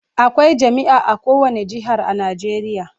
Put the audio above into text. Akwai jami'a a kowane jihar a Najeriya